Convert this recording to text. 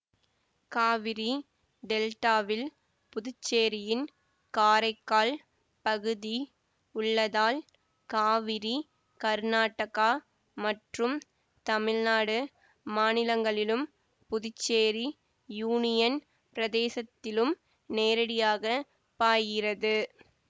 காவிரி டெல்டாவில் புதுச்சேரியின் காரைக்கால் பகுதி உள்ளதால் காவிரி கர்நாடகா மற்றும் தமிழ்நாடு மாநிலங்களிலும் புதுச்சேரி யூனியன் பிரதேசத்திலும் நேரடியாக பாய்கிறது